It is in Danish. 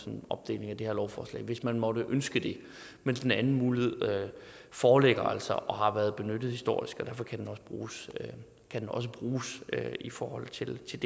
en opdeling af det her lovforslag hvis man måtte ønske det men den anden mulighed foreligger og har været benyttet historisk og derfor kan den også bruges i forhold til til